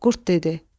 Qurd dedi: